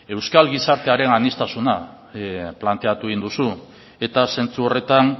euskal gizartearen aniztasuna planteatu egin duzu eta zentzu horretan